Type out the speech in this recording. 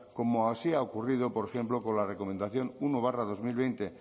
como así ha ocurrido por ejemplo con la recomendación uno barra dos mil veinte